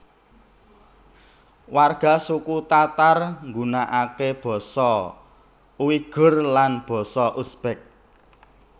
Warga suku Tatar nggunakake basa Uighur lan basa Uzbek